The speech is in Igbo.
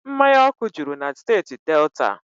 Mmanya ọkụ juru na steeti Delta